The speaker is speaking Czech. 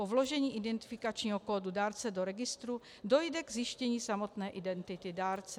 Po vložení identifikačního kódu dárce do registru dojde ke zjištění samotné identity dárce.